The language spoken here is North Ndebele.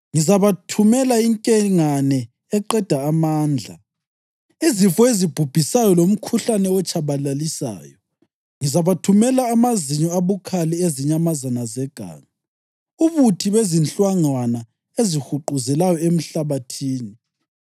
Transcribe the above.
Ngizabathumela inkengane eqeda amandla, izifo ezibhubhisayo lomkhuhlane otshabalalisayo; ngizabathumela amazinyo abukhali ezinyamazana zeganga, ubuthi bezinhlangwana ezihuquzelayo emhlabathini.